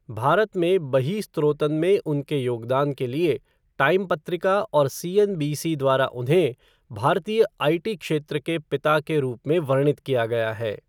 भारत में बही स्त्रोतन में उनके योगदान के लिए टाइम पत्रिका और सीएनबीसी द्वारा उन्हें 'भारतीय आईटी क्षेत्र के पिता' के रूप में वर्णित किया गया है।